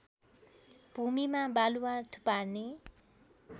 भूमिमा वालुवा थुपार्ने